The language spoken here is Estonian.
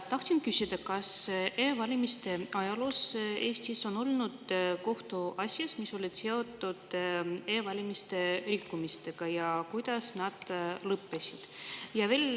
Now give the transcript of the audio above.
Tahtsin küsida, kas e-valimiste ajaloos Eestis on olnud kohtuasju, mis olid seotud e-valimiste rikkumistega, ja kuidas need lõppesid.